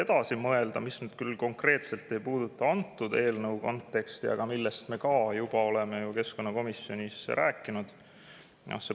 See küll ei puuduta konkreetselt selle eelnõu konteksti, aga jäätmereformi, millest me oleme jõudnud keskkonnakomisjonis juba rääkida.